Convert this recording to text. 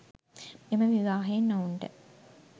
එම විවාහයෙන් ඔවුන්ට